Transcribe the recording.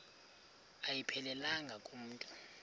ayiphelelanga ku mntu